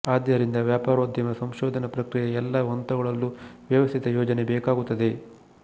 ಆದ್ದರಿಂದ ವ್ಯಾಪಾರೋದ್ಯಮ ಸಂಶೋಧನಾ ಪ್ರಕ್ರಿಯೆಯ ಎಲ್ಲಾ ಹಂತಗಳಲ್ಲೂ ವ್ಯವಸ್ಥಿತ ಯೋಜನೆ ಬೇಕಾಗುತ್ತದೆ